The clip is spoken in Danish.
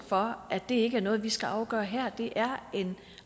for at det ikke er noget vi skal afgøre her for det er en